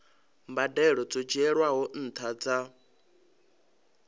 mbadelo dzo dzhielwaho nṱha dza